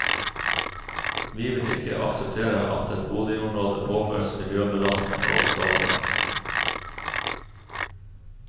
Vi vil ikke akseptere at et boligområde påføres miljøbelastninger og skade.